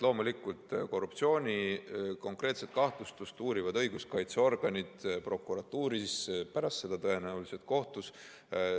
Loomulikult, konkreetset korruptsioonikahtlustust uurivad õiguskaitseorganid prokuratuuris, pärast seda tõenäoliselt kohtus.